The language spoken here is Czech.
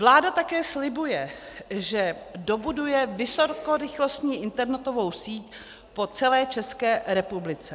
Vláda také slibuje, že dobuduje vysokorychlostní internetovou síť po celé České republice.